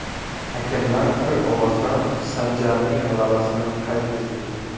Hakamlar bir ovozdan Sanjarning g‘alabasini qayd etdi.